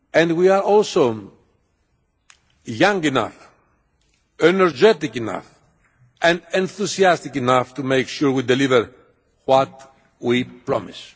We are also young enough, energetic enough and enthusiastic enough to make sure we deliver what we promise.